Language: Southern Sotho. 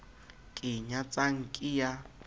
ke e nyatsang ke ya